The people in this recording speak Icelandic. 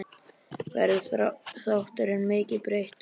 Verður þátturinn mikið breyttur?